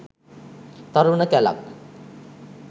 තරුණ කැලක්